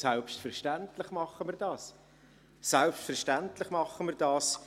Selbstverständlich tun wir dies, selbstverständlich tun wir dies.